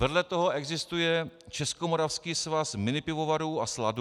Vedle toho existuje Českomoravský svaz minipivovarů a sladu.